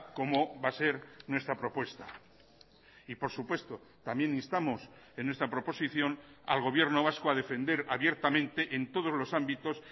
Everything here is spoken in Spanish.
como va a ser nuestra propuesta y por supuesto también instamos en nuestra proposición al gobierno vasco a defender abiertamente en todos los ámbitos